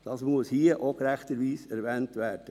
Dies muss hier gerechterweise erwähnt werden.